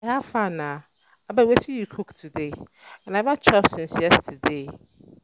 um guy how far na? um abeg wetin you cook today? um i never chop since yesterday